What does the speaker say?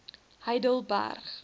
heidelberg